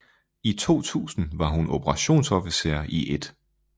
I 2000 var hun Operationsofficer i 1